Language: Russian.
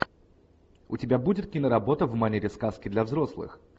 у тебя будет киноработа в манере сказки для взрослых